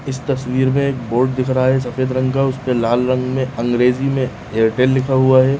इस तस्वीर में एक बोर्ड दिख रहा है सफ़ेद रंग का उसपे लाल रंग में अंग्रेजी में एयरटेल लिखा हुआ है।